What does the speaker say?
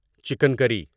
chicken curry